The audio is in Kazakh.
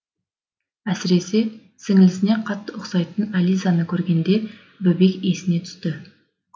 әсіресе сіңлісіне қатты ұқсайтын әлизаны көргенінде бөбек есіне түсті